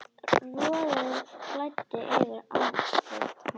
Roði flæddi yfir andlit hans.